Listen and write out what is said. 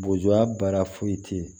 Boya baara foyi te yen